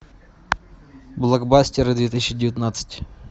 блокбастеры две тысячи девятнадцать